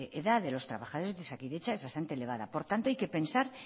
edad de los trabajadores de osakidetza es bastante elevada por tanto hay que pensar